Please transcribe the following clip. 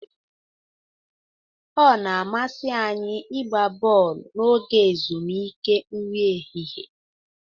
Ọ na-amasị anyị ịgba bọọlụ n'oge ezumike nri ehihie.